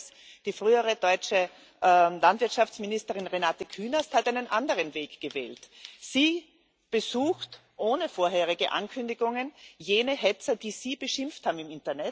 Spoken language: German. Und ein Letztes Die frühere deutsche Landwirtschaftsministerin Renate Künast hat einen anderen Weg gewählt. Sie besucht ohne vorherige Ankündigungen jene Hetzer, die sie im Internet beschimpft haben.